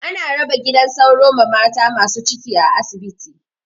Ana raba gidan sauro ma mata masu ciki a asibiti.